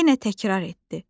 Yenə təkrar etdi: